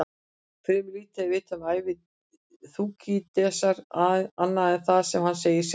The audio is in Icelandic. Fremur lítið er vitað um ævi Þúkýdídesar annað en það sem hann segir sjálfur.